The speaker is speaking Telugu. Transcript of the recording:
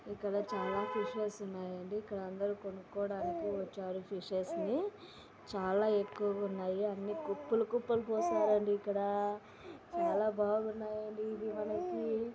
ఇక్కడ చాలా ఫిషెస్ ఉన్నాయండి. ఇక్కడ అందరూ కొను క్కొడానికి వచ్చారు ఫిషెస్ ని. చాలా ఎక్కువగా ఉన్నాయి. అన్ని కుప్పలు కుప్పలు పోసారండి ఇక్కడా. చాలా బాగున్నాయండి ఇది మనకి.